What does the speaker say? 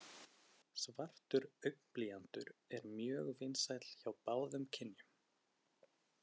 Svartur augnblýantur er mjög vinsæll hjá báðum kynjum.